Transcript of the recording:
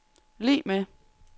lig med